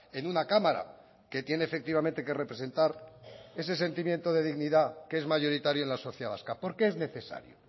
en una cámara que tiene efectivamente que representar ese sentimiento de dignidad que es mayoritario en la sociedad vasca por qué es necesario